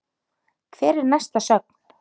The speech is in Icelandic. Hver er næsta sögn?